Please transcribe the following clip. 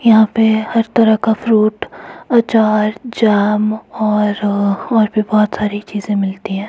यहां पर हर तरह का फ्रूट आचार जाम और और भी बहोत सारी चीज मिलती है।